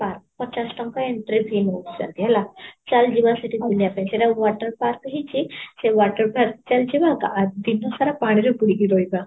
park, ପଚାଶ ଟଙ୍କା entry fees ନଉଛିନ୍ତି ହେଲା ଚାଲ ଯିବା ସେଠି ବୁଲିବା ପାଇଁ ସେଟା ଗୋଟେ water park ହେଇଛି, ସେ water park ଚାଲିଛି ନା ତ ଦିନ ସାରା ପାଣି ରେ ବୁଡି କି ରହିବ